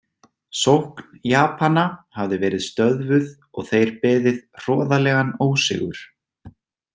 Sókn Japana hafði verið stöðvuð og þeir beðið hroðalegan ósigur.